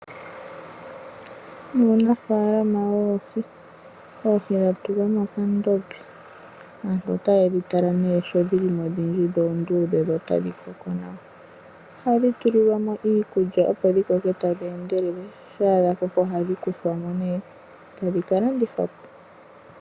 Uunafalama woohi, oohi dhatulwa mokandombe aantu otaye dhi tala ne sho dhilimo odhindji dho oondudhe, dho otadhi koko nawa. Ohadhi tuli lwamo iikulya opo dhi koke tadhi endelele shampala dhakoko ohadhi kuthwamo eta dhika landithwapo.